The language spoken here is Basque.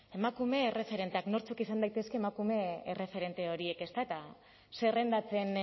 emakume erreferenteak nortzuk izan daitezke emakume erreferente horiek ezta eta zerrendatzen